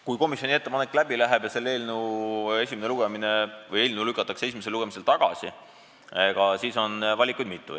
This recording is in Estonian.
Kui komisjoni ettepanek läbi läheb ja see eelnõu lükatakse esimesel lugemisel tagasi, siis on valikuid mitu.